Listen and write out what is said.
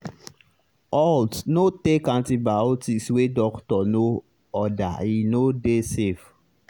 haltno take antibiotics wey doctor no ordere no dey safe.